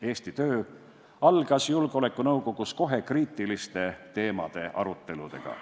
Eesti töö algas Julgeolekunõukogus kohe kriitiliste teemade aruteludega.